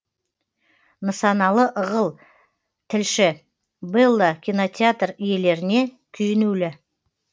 нысаналы ығыл тілші бэлла кинонтеатр иелеріне күйінулі